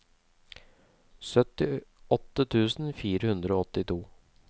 syttiåtte tusen fire hundre og åttito